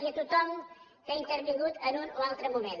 i a tothom que hi ha intervingut en un o altre moment